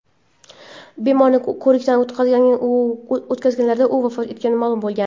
bemorni ko‘rikdan o‘tkazganlarida u vafot etgani ma’lum bo‘lgan.